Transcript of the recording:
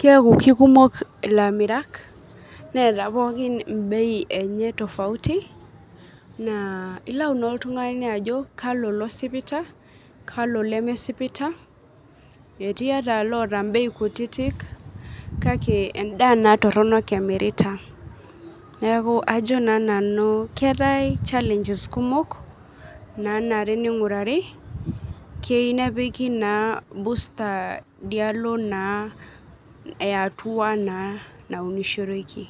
keeku keikumok ilamirak neeta bei enche tofauti ,naaa ilau naa oltngani ajo kalo losipita kalo lemesipita eti loota bei kutitik kake endaa naa toronok emirata ,neeku ajo naa nanu keetae chalenges kumok naa are nepiki ,keyieu naa nepikita busta idialo naa ayatua naa naunishoreki .